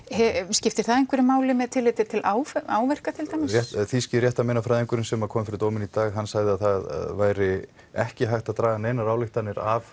skiptir það einhverju máli með tilliti til áverka til dæmis þýski réttarmeinafræðingurinn sem kom fyrir dómi í dag sagði að það væri ekki hægt að draga neinar ályktanir af